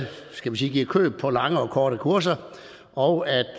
skal vi sige giver køb på lange og korte kurser og